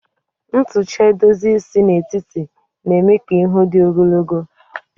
Ntucha edozi isi n'etiti na-eme ka ihu dị ogologo